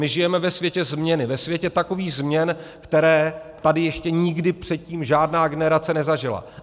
My žijeme ve světě změny, ve světě takových změn, které tady ještě nikdy předtím žádná generace nezažila.